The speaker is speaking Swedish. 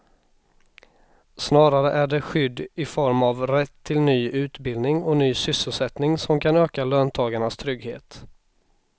Snarare är det skydd i form av rätt till ny utbildning och ny sysselsättning som kan öka löntagarnas trygghet.